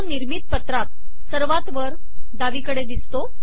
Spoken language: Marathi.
तो निर्मित पत्रात सर्वात वर डावीकडे दिसतो